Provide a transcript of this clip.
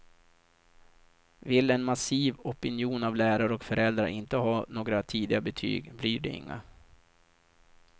Vill en massiv opinion av lärare och föräldrar inte ha några tidiga betyg, blir det inga.